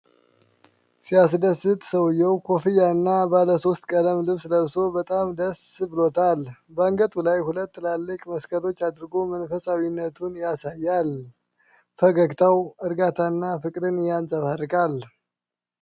ሲያስደስት! ሰውዬው ኮፍያና ባለሦስት ቀለም ልብስ ለብሶ በጣም ደስ ብሎታል። በአንገቱ ላይ ሁለት ትልልቅ መስቀሎች አድርጎ መንፈሳዊነቱን ያሳያል። ፈገግታው እርጋታና ፍቅር ያንፀባርቃል።